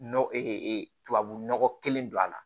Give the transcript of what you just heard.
Nɔgɔ tubabu nɔgɔ kelen don a la